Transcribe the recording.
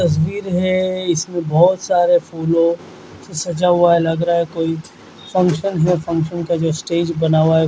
तस्वीर है इसमें बोहोत सारा फूलो से सजा हुआ है लग रहा है कोई फंशन या फंशन का जो स्टेज बना हुआ है।